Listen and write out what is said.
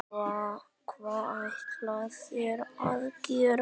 Hvað ætla þeir að gera?